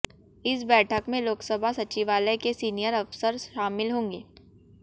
इस बैठक में लोकसभा सचिवालय के सीनियर अफसर शामिल होंगे